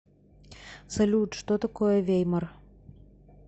салют что такое веймар